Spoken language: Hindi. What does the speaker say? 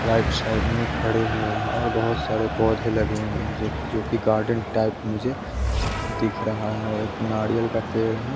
राइट साइड में खड़े हुए हैं और बहुत सारे पौधे लगे हुए हैं ज जो कि गार्डन टाइप मुझे दिख रहा है एक नाड़ियल का पेड़ है।